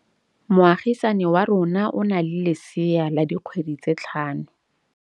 Moagisane wa rona o na le lesea la dikgwedi tse tlhano.